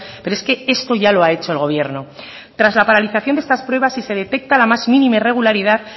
pero es que esto ya lo ha hecho el gobierno tras la paralización de estas pruebas si se detecta la más mínima irregularidad